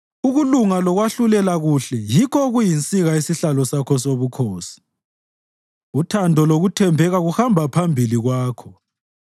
Ukulunga lokwahlulela kuhle yikho okuyinsika yesihlalo sakho sobukhosi; uthando lokuthembeka kuhamba phambili kwakho.